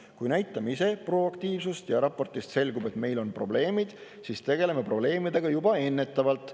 Kui me näitame ise proaktiivsust üles ja raportist selgub, et meil on probleemid, siis tegeleme probleemidega juba ennetavalt.